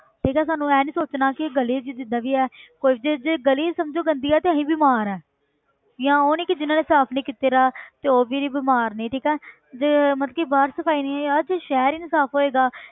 ਠੀਕ ਹੈ ਸਾਨੂੰ ਇਹ ਨੀ ਸੋਚਣਾ ਕਿ ਗਲੀ 'ਚ ਜਿੱਦਾਂ ਵੀ ਹੈ ਕੋਈ ਜੇ ਜੇ ਗਲੀ ਸਮਝੋ ਗੰਦੀ ਹੈ ਤੇ ਅਸੀਂ ਬਿਮਾਰ ਹਾਂ ਜਾਂ ਉਹ ਨਹੀਂ ਕਿ ਜਿੰਨਾਂ ਨੇ ਸਾਫ਼ ਨੀ ਕੀਤੇ ਦਾ ਤੇ ਉਹ ਵੀ ਬਿਮਾਰ ਨੀ ਠੀਕ ਹੈ ਤੇ ਮਤਲਬ ਕਿ ਬਾਹਰ ਸਫ਼ਾਈ ਨੀ ਹੈ ਯਾਰ ਤੇ ਸ਼ਹਿਰ ਹੀ ਨੀ ਸਾਫ਼ ਹੋਏਗਾ